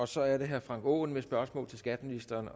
så er det herre frank aaen med spørgsmål til skatteministeren